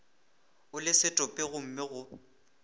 o le setopo gomme go